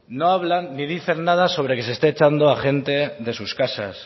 no hablan ni dicen nada sobre que se esté echando a gente de sus casas